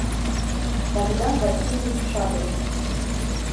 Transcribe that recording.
богдан васильевич шадрин